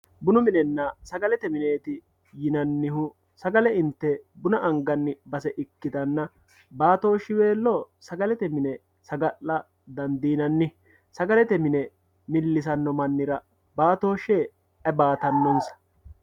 bunu minenna sagalete mineeti yinannihu sagale inte buna anganiwa ikkitanna baatooshsiweelo saga'la dandiinanni bunu minenna sagale mine millisanno mannira baatooshshe aye baatannonsa?